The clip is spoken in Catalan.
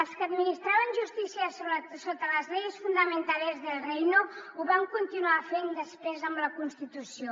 els que administraven justícia sota las leyes fundamentales del reino ho van continuar fent després amb la constitució